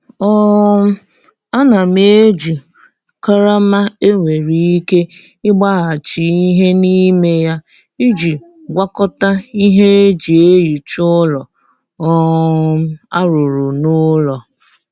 um Ana m eji karama e nwere ike ịgbaghachi ihe n'ime ya iji gwakọta ihe e ji ehicha ụlọ um a rụrụ n'ụlọ.